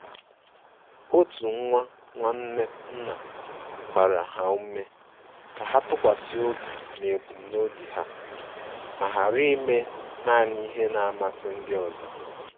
Otu nwa nwanne nna gbara ha ume ka ha tụkwasi obi n'ebumnobi ha ma ghara ime nani ihe na-amasi ndị ọzọ.